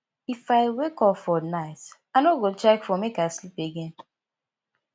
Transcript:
if i wake up for night i no go check phone make i sleep again